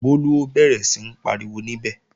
Bólú ó bẹ̀rẹ̀ sí ń pariwo níbẹ̀